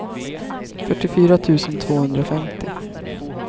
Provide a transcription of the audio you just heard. fyrtiofyra tusen tvåhundrafemtio